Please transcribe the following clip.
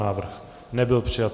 Návrh nebyl přijat.